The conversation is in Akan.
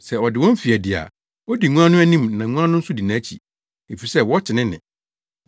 Sɛ ɔde wɔn fi adi a, odi nguan no anim na nguan no nso di nʼakyi, efisɛ wɔte ne nne.